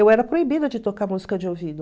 Eu era proibida de tocar música de ouvido.